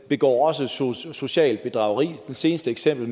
begår socialt bedrageri i det seneste eksempel